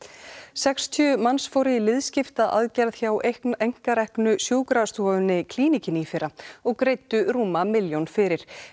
sextíu manns fóru í liðskiptaaðgerð hjá einkareknu sjúkrastofunni Klíníkinni í fyrra og greiddu rúma milljón fyrir